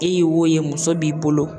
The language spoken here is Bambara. E ye wo ye muso b'i bolo.